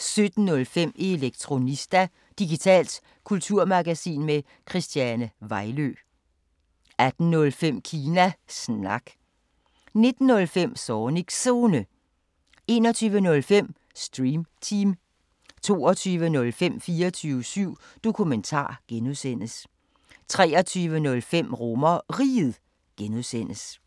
17:05: Elektronista – digitalt kulturmagasin med Christiane Vejlø 18:05: Kina Snak 19:05: Zornigs Zone 21:05: Stream Team 22:05: 24syv Dokumentar (G) 23:05: RomerRiget (G)